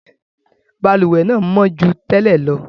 Balùwẹ́ náà mọ́ ju tẹ́lẹ̀ lọ.